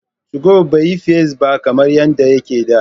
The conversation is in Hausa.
2go bai yi fice ba kamar yadda yake a da.